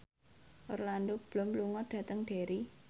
Orlando Bloom lunga dhateng Derry